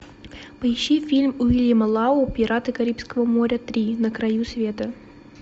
поищи фильм уильяма лау пираты карибского моря три на краю света